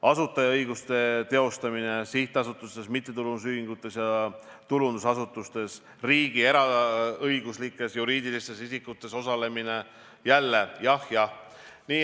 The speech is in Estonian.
Asutajaõiguste teostamine sihtasutustes, mittetulundusühingutes ja tulundusasutustes, riigi eraõiguslikes juriidilistes isikutes osalemine: jälle jah, jah.